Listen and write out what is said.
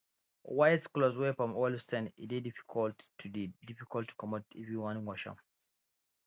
white clothes wey palm oil stain e dey difficult to dey difficult to comot if you wan wash am